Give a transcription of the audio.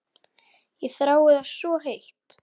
Ég þrái það svo heitt.